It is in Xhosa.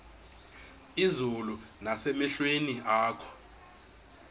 izulu nasemehlweni akho